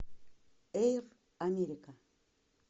эйр америка